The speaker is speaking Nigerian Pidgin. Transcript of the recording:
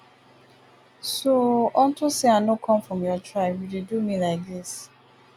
so unto say i no come from your tribe you your tribe you dey do me like dis